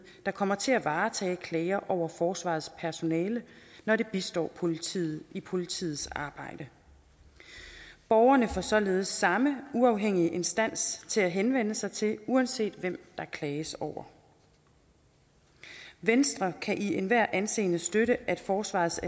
der kommer til at varetage klager over forsvarets personale når de bistår politiet i politiets arbejde borgerne får således samme uafhængige instans at henvende sig til uanset hvem der klages over venstre kan i enhver henseende støtte at forsvarets